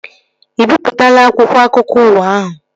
Ị bipụtaala akwụkwọ akụkọ ụwa ahụ?